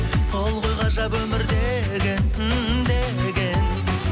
сол ғой ғажап өмір деген ммм деген